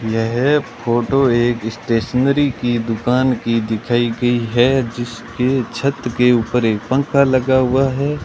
यह फोटो एक स्टेशनरी की दुकान की दिखाई गई है जिसके छत के ऊपर एक पंखा लगा हुआ है।